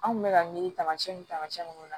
An kun bɛ ka miiri taamasiyɛn ni taamasiyɛn nunnu na